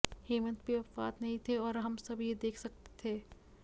हेमंत भी अपवाद नहीं थे और हम सब यह देख सकते थे